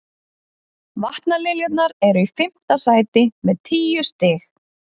Vatnaliljurnar eru í fimmta sæti með tíu stig.